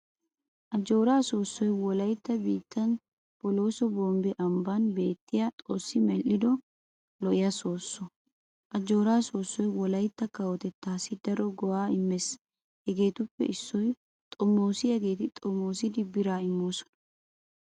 Ajjooraa soossoy wolaytta biittan Bolooso Bombbe ambban beettiyaa xoossi medhdhido lo'iyaa soossoy. Ajjooraa soossoy wolaytta kawotettaassi daro go'aa immees hegeetuppe issoy xomoosiyaageeti xomoosidi biraa immoosona.